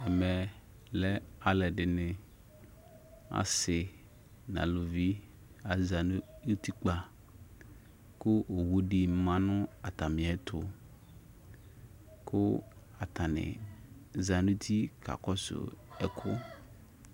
Ɛmɛ asɩ kʊ aluvɩ zanʊ ʊtɩkpa kʊ owudɩ ma nʊ atamɩɛtʊ kʊ atanɩ zanʊ ʊtɩ kakɔsʊ ɛkʊ